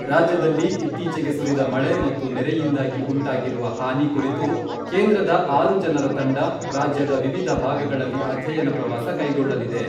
ರಾಜ್ಯದಲ್ಲಿ ಇತ್ತೀಚೆಗೆ ಸುರಿದ ಮಳೆ ಮತ್ತು ನೆರೆಯಿಂದಾಗಿ ಉಂಟಾಗಿರುವ ಹಾನಿ ಕುರಿತು ಕೇಂದ್ರದ ಆರು ಜನರ ತಂಡ ರಾಜ್ಯದ ವಿವಿಧ ಭಾಗಗಳಲ್ಲಿ ಅಧ್ಯಯನ ಪ್ರವಾಸ ಕೈಗೊಳ್ಳಲಿದೆ.